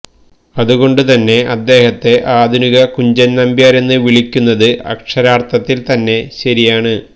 അതു കൊണ്ടു തന്നെ അദ്ദേഹത്തെ ആധുനിക കുഞ്ചൻനമ്പ്യാരെന്ന് വിളിക്കുന്നത് അക്ഷരാർത്ഥത്തിൽ തന്നെ ശരിയാണ്